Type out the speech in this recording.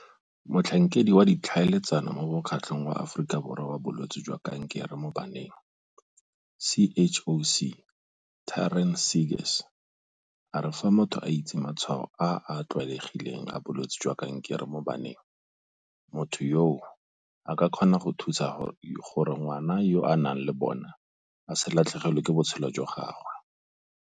Motlhankedi wa Ditlhaeletsano mo Mokgatlong wa Aforika Borwa wa Bolwetse jwa Kankere mo Baneng, CHOC, Taryn Seegers a re fa motho a itse matshwao a a tlwaelegileng a bolwetse jwa kankere mo baneng, motho yoo a ka kgona go thusa gore ngwana yo a nang le bona a se latlhegelwe ke botshelo jwa gagwe.